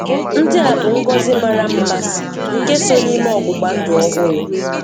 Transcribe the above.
Ndị a bụ ngọzi mara mma nke so n'ime ọgbụgbandụ ọhụrụ.